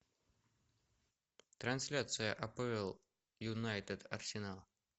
трансляция апл юнайтед арсенал